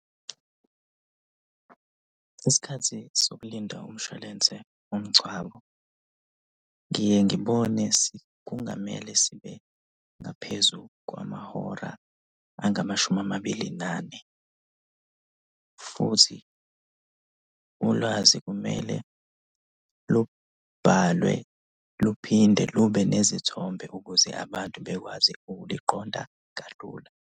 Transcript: Isikhathi sokulinda umshwalense womngcwabo. Ngiye ngibone kungamele sibe ngaphezu kwamahora angamashumi amabili nane, futhi ulwazi kumele lubhalwe. Luphinde lube nezithombe ukuze abantu bakwazi ukuliqonda kalula.